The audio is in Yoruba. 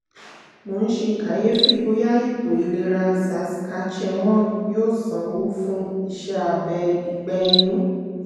mo ń ṣe kàyéfì bóyá ètò ìlera saskatchewan yóò sanwó fún iṣẹ́ abẹ ìgbẹ́ inú